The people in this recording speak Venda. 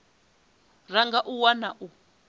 ra nga a wana u